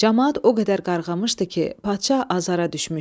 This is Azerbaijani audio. Camaat o qədər qarğamışdı ki, padşah azara düşmüşdü.